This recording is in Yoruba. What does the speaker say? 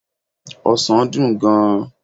osan dùn gan-an